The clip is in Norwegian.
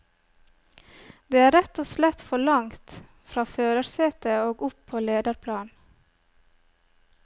Det er rett og slett for langt fra førersetet og opp på lederplan.